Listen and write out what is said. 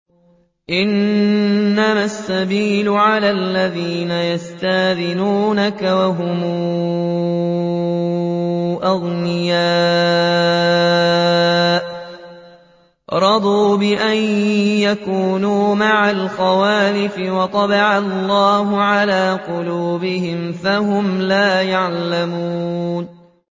۞ إِنَّمَا السَّبِيلُ عَلَى الَّذِينَ يَسْتَأْذِنُونَكَ وَهُمْ أَغْنِيَاءُ ۚ رَضُوا بِأَن يَكُونُوا مَعَ الْخَوَالِفِ وَطَبَعَ اللَّهُ عَلَىٰ قُلُوبِهِمْ فَهُمْ لَا يَعْلَمُونَ